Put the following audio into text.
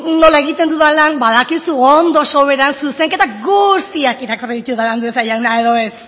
nola egiten dudan lan badakizu ondo soberan zuzenketa guztiak irakurri ditudala andueza jauna edo ez